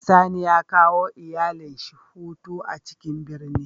Sani ya kawo iyalin shi hutu a ciƙin birni.